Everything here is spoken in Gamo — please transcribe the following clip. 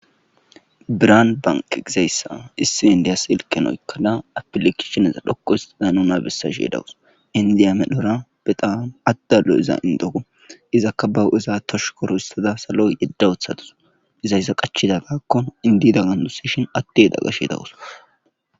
biraan bank gizayssa issi indiyas ilken oykkala apilekisheneza dhokko histida nu nabessa she dawus indiya medhora be tawanu addallo iza indohu izakka bahu7iza tosh koro hissada saloy yeddawuthatus gizayssa qachida gaakko indida gganduseshin atteyeda gashe dawus